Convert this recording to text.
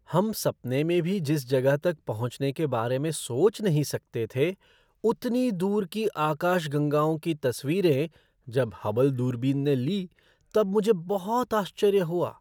हम सपने में भी जिस जगह तक पहुँचने के बारे में सोच नहीं सकते थे उतनी दूर की आकाशगंगाओं की तस्वीरें जब हबल दूरबीन ने ली तब मुझे बहुत आश्चर्य हुआ।